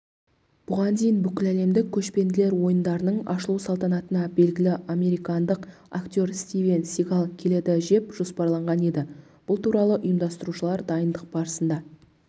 бұған дейін бүкіләлемдік көшпенділер ойындарының ашылу салтанатына белгілі американдық актер стивен сигал келеді жеп жоспарланған еді бұл туралы ұйымдастырушылар дайындық барысында